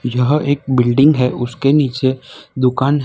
यह एक बिल्डिंग है उसके नीचे दुकान है।